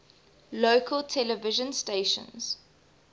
local television stations